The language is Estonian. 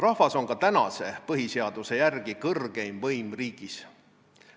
Rahvas on ka põhiseaduse järgi kõrgeim võim riigis.